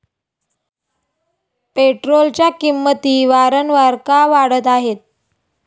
पेट्रोलच्या किंमती वारंवार का वाढत आहेत?